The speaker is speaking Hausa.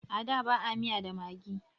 A da ba a miya da maggi